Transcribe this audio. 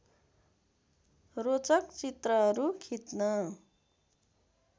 रोचक चित्रहरू खिच्न